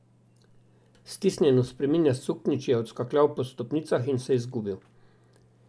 Stisnjen v spreminjast suknjič je odskakljal po stopnicah in se izgubil.